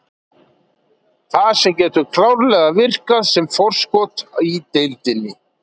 Þetta getur klárlega virkað sem forskot í deildinni.